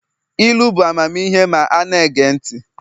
ilu bụ amamihe ma a na-ege ntị